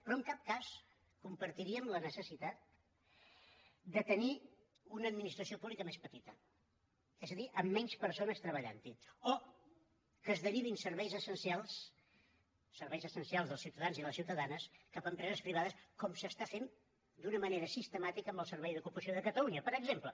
però en cap cas compartiríem la necessitat de tenir una administració pública més petita és a dir amb menys persones treballant hi o que es derivin serveis essencials serveis essencials dels ciutadans i les ciutadanes cap a empreses privades com es fa d’una manera sistemàtica amb els servei d’ocupació de catalunya per exemple